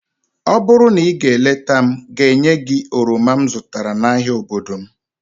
ọ bụrụ na ị gaa leta m, ga-enye gị oroma m zụtara n'ahịa obodo m